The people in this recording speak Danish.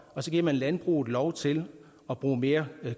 og så giver man landbruget lov til at bruge mere